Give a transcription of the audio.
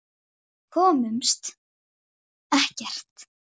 Margrét er önnur gátan til.